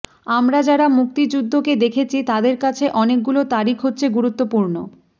আমরা যারা মুক্তিযুদ্ধকে দেখেছি তাদের কাছে অনেকগুলো তারিখ হচ্ছে গুরুত্বপূর্ণ